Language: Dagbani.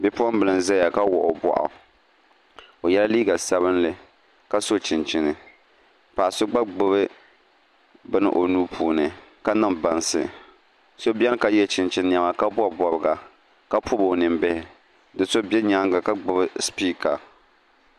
Bipuɣunbili n ʒɛya ka wuɣi o boɣu o yɛla liiga sabinli ka so chinchini paɣa so gba gbubi bini o nuu puuni ka niŋ bansi so biɛni ka yɛ chinchini niɛma ka bob bobga ka pobi o ninbihi do so bɛ nyaanga ka gbubi sipiika